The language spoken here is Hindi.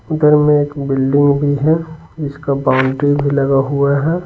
उधर में एक बिल्डिंग भी है इसका बाउंड्री भी लगा हुआ है।